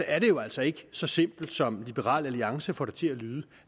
er det jo altså ikke så simpelt som liberal alliance får det til at lyde